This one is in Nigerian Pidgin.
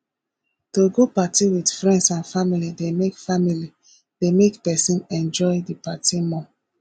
to go party with friends and family de make family de make persin enjoy di party more